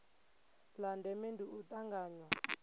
la ndeme ndi u tanganywa